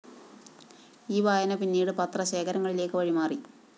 ഈ വായന പിന്നീട് പത്ര ശേഖരങ്ങളിലേക്ക് വഴിമാറി